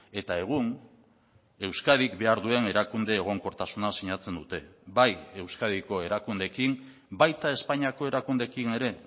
eta egun euskadik behar duen erakunde egonkortasuna sinatzen dute bai euskadiko erakundeekin baita espainiako erakundeekin ere